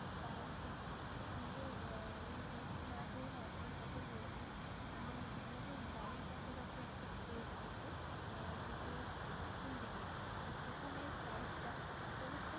পাই ঠিকই কিন্তু আহ recent না ধরুন আজকের কথাই বলছি, আমি আমাদের বাড়ির কাছাকাছি একটা store থেকে কিছু কিনতে গিয়েছিলাম তো সেখানে price টা অনেকটাই